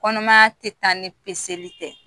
Kɔnɔmaya tɛ taa ni peseli tɛ